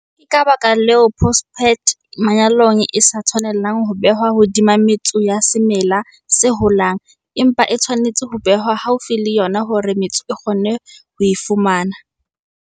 Ke ka baka leo phosphate manyolong e sa tshwanelang ho behwa hodima metso ya semela se holang, empa e tshwanetse ho behwa haufi le yona hore metso e kgone ho e fumana.